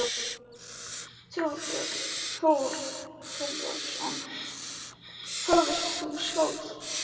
Þorbjörn Þórðarson: Hvað vilt þú sjálfur gera?